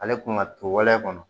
Ale kun ka tolɛn kɔnɔ